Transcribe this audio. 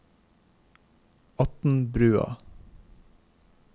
Atnbrua